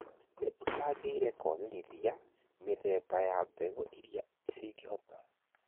nĩ ũcangĩire kũagĩrithia mĩthemba ya mbegũ irĩa cingĩhota